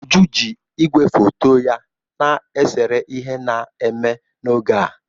Uju ji ígwè foto ya na-esere ihe na-eme n'oge a.